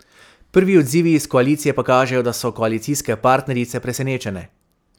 Prvi odzivi iz koalicije pa kažejo, da so koalicijske partnerice presenečene.